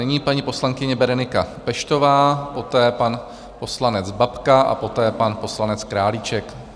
Nyní paní poslankyně Berenika Peštová, poté pan poslanec Babka a poté pan poslanec Králíček.